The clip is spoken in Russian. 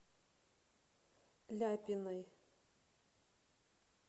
ляпиной